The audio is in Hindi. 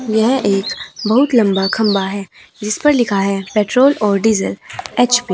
यह एक बहुत लंबा खंबा है जिसपर लिखा है पेट्रोल और डीजल एच_पी ।